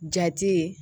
Jati ye